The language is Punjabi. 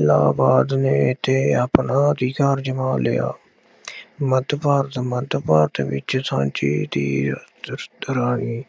ਇਲਾਹਾਬਾਦ ਨੇ ਅਤੇ ਆਪਣਾ ਅਜ਼ਮਾ ਲਿਆ। ਮੱਧ ਭਾਰਤ- ਮੱਧ ਭਾਰਤ ਵਿੱਚ ਝਾਂਸੀ ਦੀ ਰਾਣੀ